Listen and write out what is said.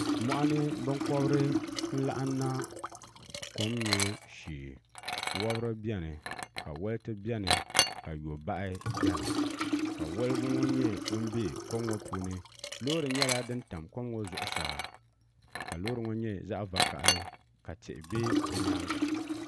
moɣani binkobiri n laɣam na kom nyubu shee wobiri biɛni ka wolti biɛni ka yobahi biɛni ka wolgu ŋo nyɛ ŋun bɛ kom ŋo puuni loori nyɛla din tam kom ŋo zuɣusaa ka loori ŋo nyɛ zaɣ vakaɣali ka tihi bɛ bi nyaanga